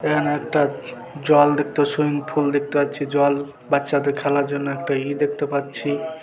এখানে একটা জল দেখতে সুইমিংপুল দেখতে পাচ্ছি জল বাচ্চাদের খেলার জন্য একটা ইয়ে দেখতে পাচ্ছি।